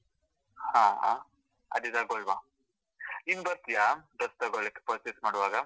ಹಾ ಹಾ, ಅದೇ ತಗೋಳ್ವ ನೀನ್ ಬರ್ತೀಯಾ dress ತಗೋಳಿಕ್ಕೆ purchase ಮಾಡುವಾಗ?